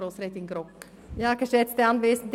Das Wort hat Grossrätin Grogg.